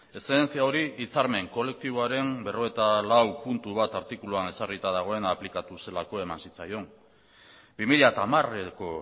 eszedentzia hori hitzarmen kolektiboaren berrogeita lau puntu bat artikuluan ezarrita dagoena aplikatu zelako eman zitzaion bi mila hamareko